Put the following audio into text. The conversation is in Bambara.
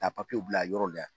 Ka papiyew bila yɔrɔw la